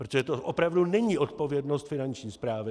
Protože to opravdu není odpovědnost Finanční správy.